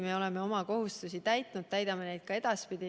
Me oleme oma kohustusi täitnud ja täidame neid ka edaspidi.